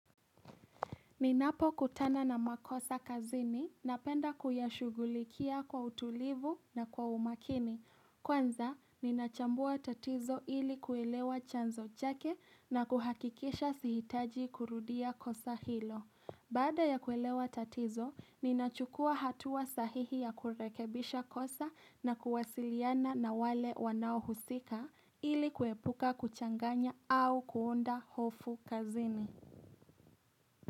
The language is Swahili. Ninapokutana na makosa kazini napenda kuyashughulikia kwa utulivu na kwa umakini. Kwanza, ninachambua tatizo ili kuelewa chanzo chake na kuhakikisha sihitaji kurudia kosa hilo. Baada ya kuelewa tatizo, ninachukua hatua sahihi ya kurekebisha kosa na kuwasiliana na wale wanaohusika ili kuepuka kuchanganya au kuunda hofu kazini.